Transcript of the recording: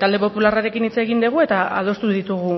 talde popularrarekin hitz egin dugu eta adostu ditugu